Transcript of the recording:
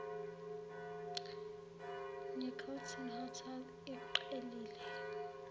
necarlton hotel iqhelile